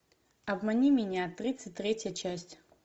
обмани меня тридцать третья часть